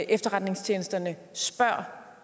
efterretningstjenesterne spørger